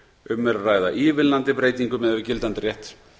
um er að ræða ívilnandi breytingu miðað við gildandi rétt